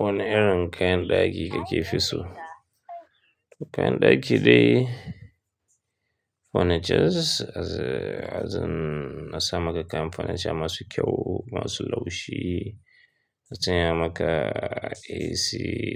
Wani irjn kayan ɗaki ka ke fi so? Kayan ɗaki dai, furnitures, azu, azu na sa maka kam furnitures masu kyau, masu laushi. Na sanya maka AC